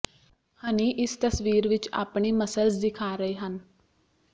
ਹਨੀ ਇਸ ਤਸਵੀਰ ਵਿੱਚ ਆਪਣੀ ਮਸਲਜ਼ ਦਿਖਾ ਰਹੇ ਹਨ